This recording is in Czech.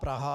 Praha -